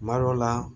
Kuma dɔw la